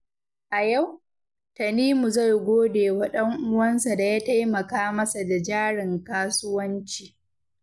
A yau, Tanimu zai gode wa ɗan'uwansa da ya taimaka masa da jarin kasuwanci.